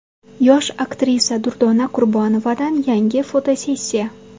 Yosh aktrisa Durdona Qurbonovadan yangi fotosessiya.